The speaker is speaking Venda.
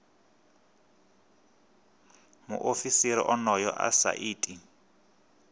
muofisiri onoyo a sa iti